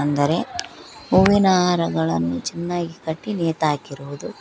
ಅಂದರೆ ಹೂವಿನ ಹಾರಗಳನ್ನು ಚೆನ್ನಾಗಿ ಕಟ್ಟಿ ನೆತು ಹಾಕಿರುವುದು.